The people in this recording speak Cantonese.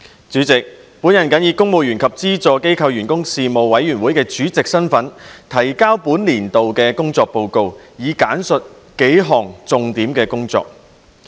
主席，本人謹以公務員及資助機構員工事務委員會主席身份，提交本年度的工作報告，並簡述數項重點工作。